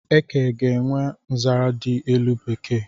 Eke ga-enwe nzere di elu n'bekee